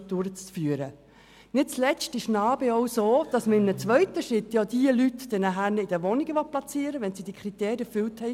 Nicht zuletzt sieht NA-BE auch vor, diese Personen in einem zweiten Schritt in Wohnungen zu platzieren, wenn sie die Kriterien erfüllen.